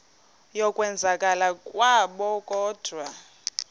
yokwenzakala kwabo kodwa